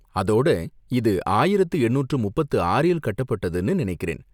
அதோட, இது ஆயிரத்து எண்ணூற்று முப்பத்து ஆறில் கட்டப்பட்டதுன்னு நினைக்கிறேன்.